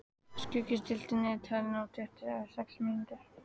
Skuggi, stilltu niðurteljara á tuttugu og sex mínútur.